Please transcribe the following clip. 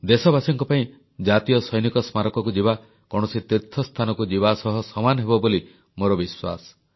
ଦେଶବାସୀଙ୍କ ପାଇଁ ଜାତୀୟ ସୈନିକ ସ୍ମାରକୀକୁ ଯିବା କୌଣସି ତୀର୍ଥସ୍ଥାନକୁ ଯିବା ସହ ସମାନ ହେବ ବୋଲି ମୋର ବିଶ୍ୱାସ